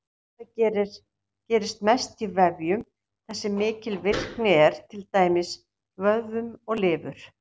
Þetta gerist mest í vefjum þar sem mikil virkni er, til dæmis vöðvum og lifur.